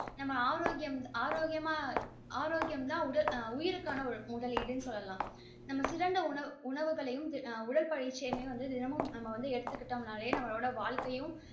நம்ம ஆரோக்கியம் ஆரோக்கியமா உயிருக்கான ஒரு முதலிடு சொல்லலாம் நாம சிறந்த உணவு உணவு உடற்பயிற்சிகளும் எடுத்துக்கிட்டோம் நா நம்ளோட வாழ்கையும்